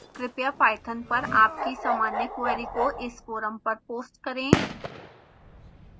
कृपया पाइथन पर आपकी सामान्य क्वेरी को इस फोरम पर पोस्ट करें